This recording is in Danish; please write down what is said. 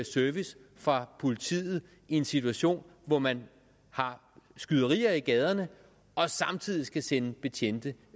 service fra politiet i en situation hvor man har skyderier i gaderne og samtidig skal sende betjente